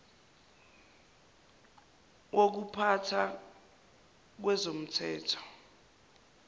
wokupha tha kwezomthetho